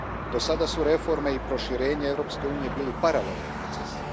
Do sada su reforme i proširenje Europske unije bili paralelni procesi.